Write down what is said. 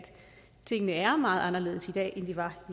tingene er meget anderledes i dag end de var i